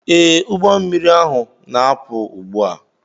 Ee, ụgbọ mmiri ahu na-apụ ugbu a.